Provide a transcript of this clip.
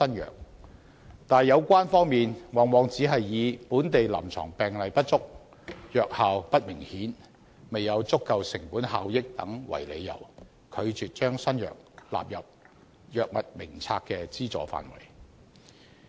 可是，有關方面往往只是以本地臨床病例不足、藥效不明顯及未有足夠成本效益等為由，拒絕把新藥納入藥物名冊的資助範圍。